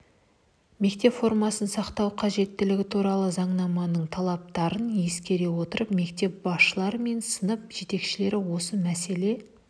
мектеп формасын сақтау қажеттілігі туралы заңнаманың талаптарын ескере отырып мектеп басшылары мен сынып жетекшілері осы мәселе